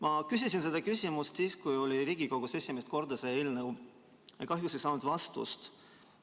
Ma küsisin selle küsimuse siis, kui see eelnõu oli Riigikogus esimest korda, aga kahjuks ei saanud vastust.